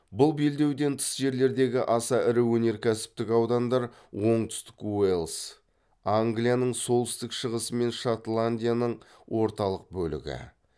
бұл белдеуден тыс жерлердегі аса ірі өнеркәсіптік аудандар оңтүстік уэльс англияның солтүстік шығысы мен шотландияның орталық бөлігі